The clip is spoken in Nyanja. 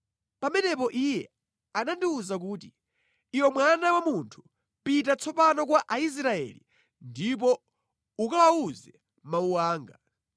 Pamenepo Iye anandiwuza kuti, “Iwe mwana wa munthu, pita tsopano kwa Aisraeli ndipo ukawawuze mawu anga.